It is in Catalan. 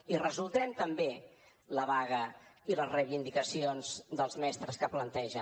i resoldrem també la vaga i les reivindicacions dels mestres que plantegen